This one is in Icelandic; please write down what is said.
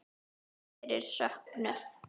Þrátt fyrir söknuð.